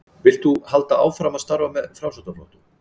Vilt þú halda áfram að starfa með Framsóknarflokknum?